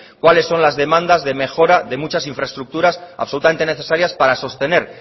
cuáles son las demandas de mejora de muchas infraestructuras absolutamente necesarias para sostener